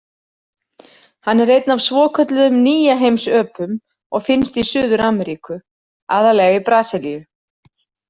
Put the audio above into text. Hann er einn af svokölluðum nýjaheimsöpum og finnst í Suður-Ameríku, aðallega í Brasilíu.